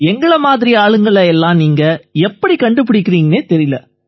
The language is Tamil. எங்களை மாதிரியான ஆளுங்களை எல்லாம் நீங்க எப்படி கண்டுபிடிக்கறீங்கன்னே தெரியலை